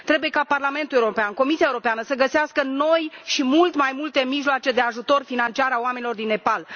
Trebuie ca Parlamentul European, Comisia Europeană să găsească noi și mult mai multe mijloace de ajutor financiar a oamenilor din Nepal.